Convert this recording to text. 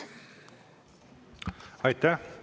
Aitäh!